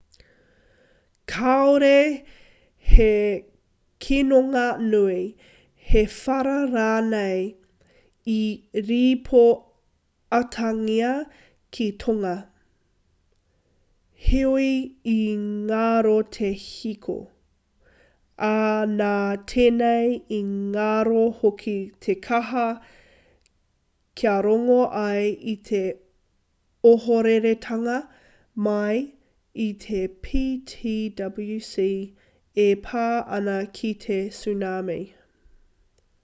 kāore he kinonga nui he whara rānei i rīpoatangia ki tonga heoi i ngaro te hiko ā nā tenei i ngaro hoki te kaha kia rongo ai i te ohoreretanga mai i te ptwc e pā ana ki te tsunami